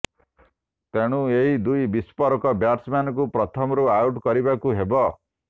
ତେଣୁ ଏହି ଦୁଇ ବିସ୍ଫୋରକ ବ୍ୟାଟ୍ସମ୍ୟାନଙ୍କୁ ପ୍ରଥମରୁ ଆଉଟ୍ କରିବାକୁ ହେବ